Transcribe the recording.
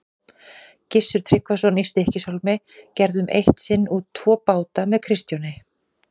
Gissur Tryggvason í Stykkishólmi gerðum eitt sinn út tvo báta með Kristjáni.